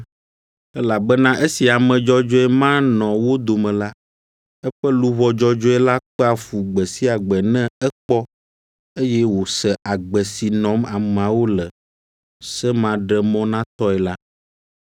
(elabena esi ame dzɔdzɔe ma nɔ wo dome la, eƒe luʋɔ dzɔdzɔe la kpea fu gbe sia gbe ne ekpɔ, eye wòse agbe si nɔm ameawo le semaɖemɔnatɔe la).